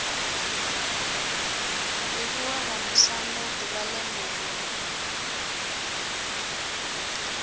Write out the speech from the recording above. livhuwa vhamusanda d uvha ḽenelo